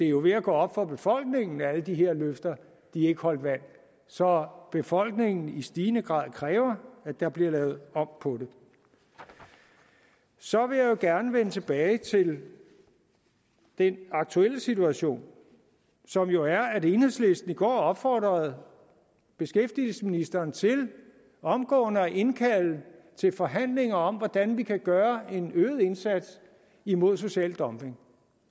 jo er ved at gå op for befolkningen at alle de her løfter ikke holdt vand så befolkningen i stigende grad kræver at der bliver lavet om på det så vil jeg gerne vende tilbage til den aktuelle situation som jo er at enhedslisten i går opfordrede beskæftigelsesministeren til omgående at indkalde til forhandlinger om hvordan vi kan gøre en øget indsats imod social dumping